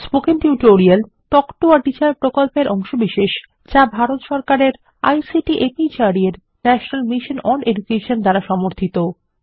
spoken tutorial talk to a teacher প্রকল্পের অংশবিশেষ যা ভারত সরকারের আইসিটি মাহর্দ এর ন্যাশনাল মিশন ওন এডুকেশন দ্বারা সমর্থিত